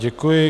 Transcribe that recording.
Děkuji.